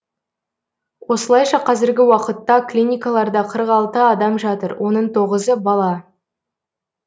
осылайша қазіргі уақытта клиникаларда қырық алты адам жатыр оның тоғызы бала